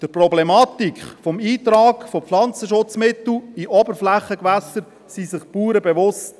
Die Bauern sind sich der Problematik des Eintrags von Pflanzenschutzmitteln in Oberflächengewässer bewusst.